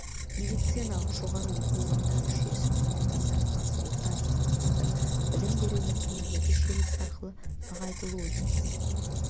медициналық жоғары оқу орындары жүйесі мамандандырылған орта деңгейдегі білім беру мекемелері желісі арқылы нығайтылуы тиіс